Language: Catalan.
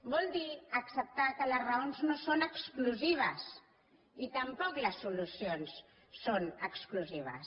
vol dir acceptar que les raons no són exclusives i tampoc les solucions són exclusives